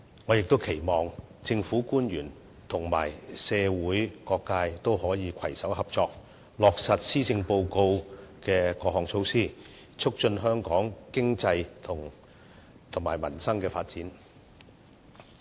我亦期望政府官員和社會各界可以攜手合作，落實施政報告的各項措施，促進香港的經濟及民生發展。